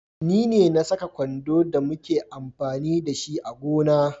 Ne na Saka kwando da muke amfani da shi a gona.